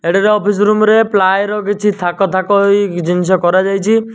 ଏଇଟା office room ରେ ply ର କିଛି ଥାକ ଥାକ ହେଇ ଜିନିଷ କରା ଯାଇଛି।